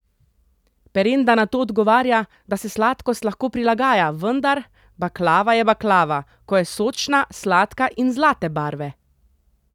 Perenda na to odgovarja, da se sladkost lahko prilagaja, vendar: "Baklava je baklava, ko je sočna, sladka in zlate barve.